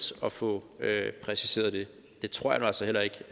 at få præciseret det det tror jeg nu altså heller ikke